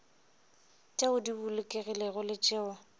tšeo di bolokegilego le tšeo